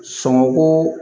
Sɔngɔ ko